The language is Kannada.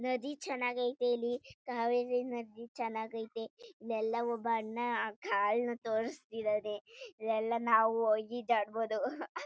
ನದಿ ಚನ್ನಗಾಯ್ತೆ ಇಲ್ಲಿ ಕಾವೇರಿ ನದಿ ಚನ್ನಗಾಯ್ತೆ ಇಲ್ಯೆಲ್ಲ ಒಬ್ಬ ಅಣ್ಣ ಕಾಲ್ನ ತೋರಿಸ್ತಿದಾನೆ ಇಲ್ಯೆಲ್ಲ ನಾವು ಹೋಗಿ ಈಜಾಡ್ಬೋದು .